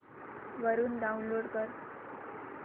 वरून डाऊनलोड कर